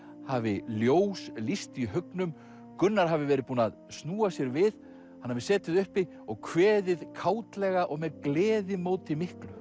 hafi ljós lýst í haugnum Gunnar hafi verið búinn að snúa sér við hann hafi setið uppi og kveðið og með gleðimóti miklu